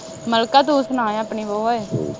ਮਲਿਕਾ ਤੂੰ ਸੁਣਾ ਆਪਣੀ ਵੋਹ ਓਏ